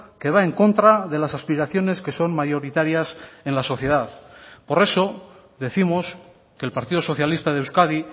que va en contra de las aspiraciones que son mayoritarias en la sociedad por eso décimos que el partido socialista de euskadi